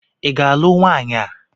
ị ga-alụ nwaanyị a?